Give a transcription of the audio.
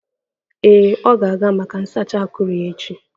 Ee, ọ ga-aga maka nsacha akuru echi.